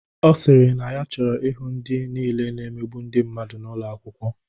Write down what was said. Ọ sịrị na ya choro ihụ ndị nile na-emegbu ndị mmadụ n'ụlo akwụkwo.